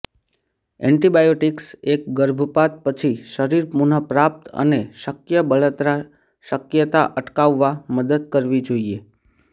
antibiotics એક ગર્ભપાત પછી શરીર પુનઃપ્રાપ્ત અને શક્ય બળતરા શક્યતા અટકાવવા મદદ કરવી જોઈએ